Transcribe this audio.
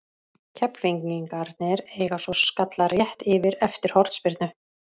Keflvíkingarnir eiga svo skalla rétt yfir eftir hornspyrnu.